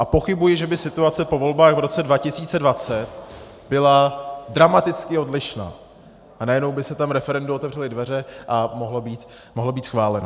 A pochybuji, že by situace po volbách v roce 2020 byla dramaticky odlišná a najednou by se tam referendu otevřely dveře a mohlo být schváleno.